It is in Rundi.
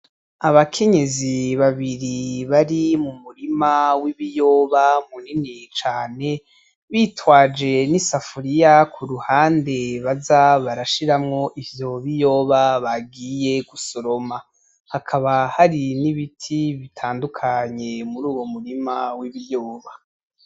Abakenyezi babiri bari m'umurima w'ibiyoba munini cane, bitwaje n'isafuriya kuruhande baza barashiramwo ivyo biyoba bagiye gusoroma, hakaba hari n'ibiti bitandukanye muruwo murima w'ibiyoba.